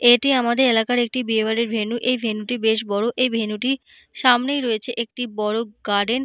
এটি আমাদের এলাকার একটি বিয়ে বাড়ির ভেনু এই ভেনু - টি বেশ বড় এই ভেনু - টির সামনেই রয়েছে একটি বড় গার্ডেন ।